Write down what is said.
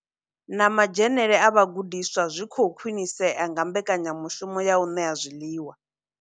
Na madzhenele a vhagudiswa zwi khou khwinisea nga mbekanya mushumo ya u ṋea zwiḽiwa.